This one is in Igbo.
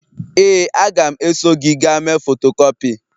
Ee, a ga m eso gị gaa mee fotokupi